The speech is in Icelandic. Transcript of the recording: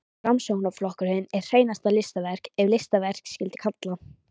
Framsóknarflokkurinn er hreinasta listaverk, ef listaverk skyldi kalla.